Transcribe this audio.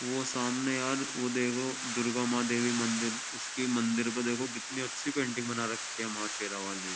वो सामने यार वो देखो दुर्गा माँ देवी मंदिर उसके मंदिर को देखो कितनी अच्छी पेंटिंग बना रखी है माँ शेरा वाली।